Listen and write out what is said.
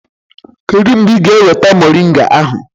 Kedu mgbe ị ga-eweta mọrịnga ahụ?